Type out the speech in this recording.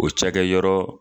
O cakɛyɔrɔ